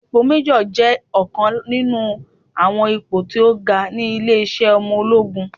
Ipò méjọ̀ jẹ́ ọ̀kan nínú àwọn ipò tí ó ga ní ilé-iṣẹ́ ọmọ ológun